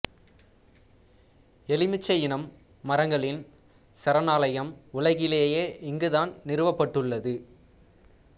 எலுமிச்சை இன மரங்களின் சரணாலயம் உலகிலேயே இங்கு தான் நிறுவப்பட்டுள்ளது